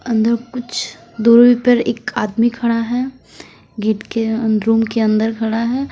अंदर कुछ दूरी पर एक आदमी खड़ा है गेट के अंदर रूम के अंदर खड़ा है।